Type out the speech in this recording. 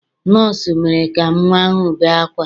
Nọọsụ mere ka nnwa ahụ bee ákwá.